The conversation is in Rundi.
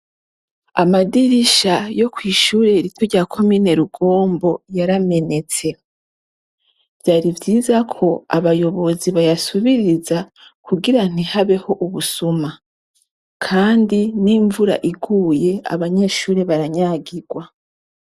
Amadirisha yo kw'ishure riti rya komi ne rugombo yaramenetse vyari vyiza ko abayobozi bayasubiriza kugira ntihabeho ubusuma, kandi n'imvura iguye abanyeshure baranyagirwa.